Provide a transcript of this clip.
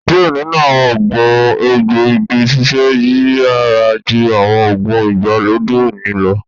Diẹ ninu awọn oogun egboigi ṣiṣẹ yiyara ju awọn oogun igbalode oni lọ